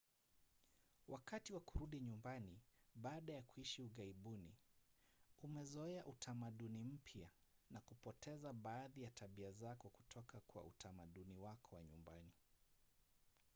wakati wa kurudi nyumbani baada ya kuishi ughaibuni umezoea utamaduni mpya na kupoteza baadhi ya tabia zako kutoka kwa utamaduni wako wa nyumbani